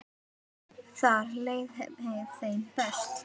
Þar leið þeim best.